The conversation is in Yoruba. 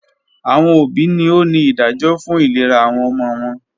Awọn obi ni o ni idajọ fun ilera awọn ọmọ wọn